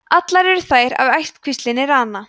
allar eru þær af ættkvíslinni rana